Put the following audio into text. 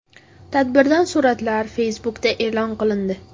Tadbirdan suratlar Facebook’da e’lon qilindi .